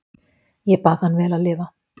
Ég bað hann vel að lifa.